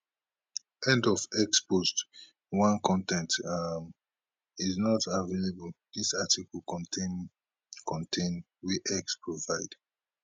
end of x post 1 con ten t um is not available dis article contain con ten t wey x provide